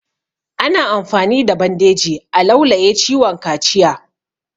Ana amfani da bandeji a laulaye ciwon kaciya